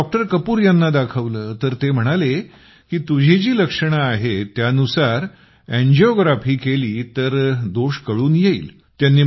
मग डॉक्टर कपूर यांना दाखवले तर ते म्हणाले की तुझी जी लक्षणे आहेत त्यानुसार एंजियोग्राफी केली तर दोष कळून येईल